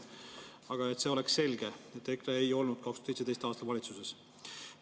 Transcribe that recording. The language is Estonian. Aga et oleks selge, et EKRE ei olnud 2017. aastal valitsuses.